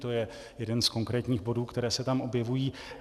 To je jeden z konkrétních bodů, které se tam objevují.